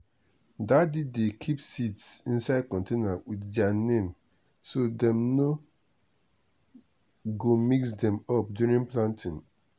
daddy dey keep seeds inside container with their name so dem no go mix them up during planting.